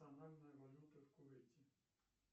национальная валюта в кувейте